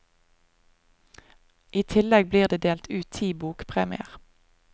I tillegg blir det delt ut ti bokpremier.